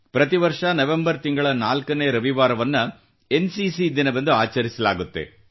ಪ್ರತಿ ವರ್ಷ ನವೆಂಬರ್ ತಿಂಗಳ ನಾಲ್ಕನೇ ರವಿವಾರವನ್ನು ಎನ್ಸಿಸಿ ದಿನವೆಂದು ಆಚರಿಸಲಾಗುತ್ತದೆ